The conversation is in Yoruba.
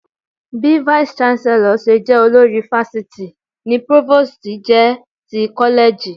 Bí Vice Chancellor ṣe jẹ́ olórí fásitì ni Provost jẹ́ ti kọ́lẹ́ẹ̀jì